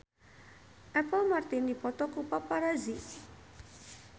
Apple Martin dipoto ku paparazi